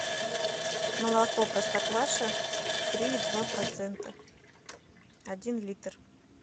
молоко простокваша три и два процента один литр